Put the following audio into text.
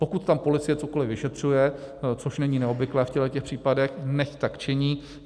Pokud tam policie cokoli vyšetřuje, což není neobvyklé v těchto případech, nechť tak činí.